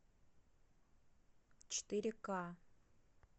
четыре к